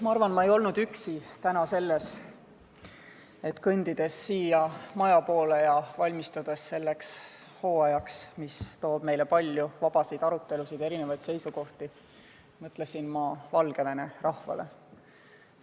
Ma arvan, et ma ei olnud täna üksi, kui siia maja poole kõndides ja selleks hooajaks, mis toob meile palju vabasid arutelusid ja erinevaid seisukohti, valmistudes mõtlesin ma Valgevene rahvale.